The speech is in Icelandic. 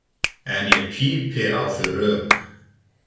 En ég pípi á þau rök.